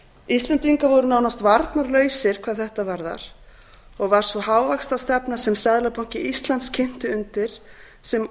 íslendingar voru nánast varnarlausir hvað þetta varðar og var sú hávaxtastefna sem seðlabanki íslands kynti undir sem olía